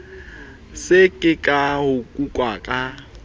se ke wa nkuka ka